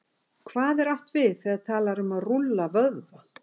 Hvað er átt við, þegar talað er um að rúlla vöðva?